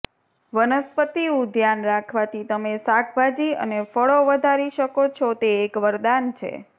વનસ્પતિ ઉદ્યાન રાખવાથી તમે શાકભાજી અને ફળો વધારી શકો છો તે એક વરદાન છે